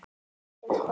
Sem koma.